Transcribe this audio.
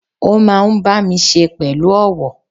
Ó máa n bá mi se pẹ̀lú ọ̀wọ̀